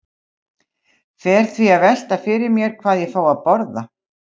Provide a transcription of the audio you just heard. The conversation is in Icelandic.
Fer því að velta fyrir mér hvað ég fái að borða.